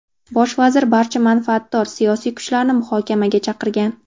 Bosh vazir barcha manfaatdor siyosiy kuchlarni muhokamaga chaqirgan.